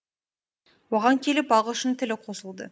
оған келіп ағылшын тілі қосылды